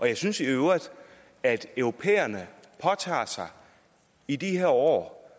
jeg synes i øvrigt at europæerne i de her år